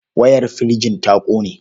Wayar firjin ta ƙone.